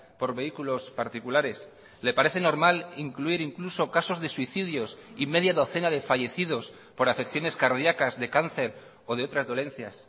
por vehículos particulares le parece normal incluir incluso casos de suicidios y media docena de fallecidos por afecciones cardíacas de cáncer o de otras dolencias